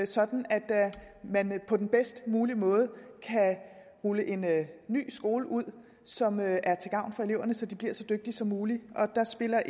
sådan at man på den bedst mulige måde kan rulle en ny skole ud som er til gavn for eleverne så de bliver så dygtige som muligt der spiller